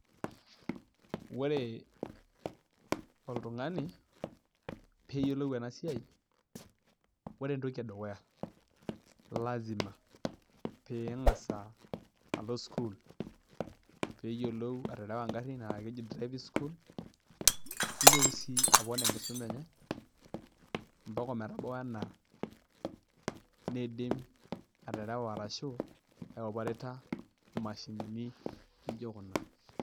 Ore oltung'ani peyiolou ena siai, ore entoki edukuya lazima peng'as alo sukul peyiolou aterewa ngarin naa keidip driving school nitooki sii apon enkisoma enye mpaka emetabau enaa neidim aterewa ashu aipareta imashinini naijo kuna.